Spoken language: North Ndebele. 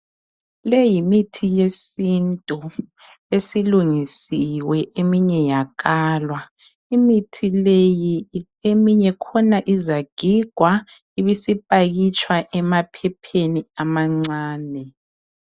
Le yimithi yesintu esilungisiwe, eminye yakalwa. Imithi leyi eminye khona izagigwa ibisipakitshwa emaphepheni amancane.